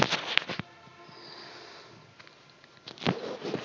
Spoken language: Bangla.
উহ